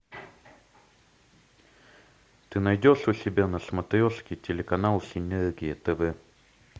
ты найдешь у себя на смотрешке телеканал синергия тв